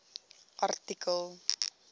artikel